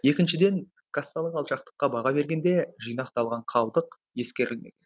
екіншіден кассалық алшақтыққа баға бергенде жинақталған қалдық ескерілмеген